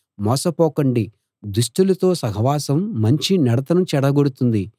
మోసపోకండి దుష్టులతో సహవాసం మంచి నడతను చెడగొడుతుంది